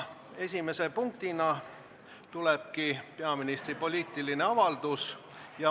Esimene punkt ongi peaministri poliitiline avaldus.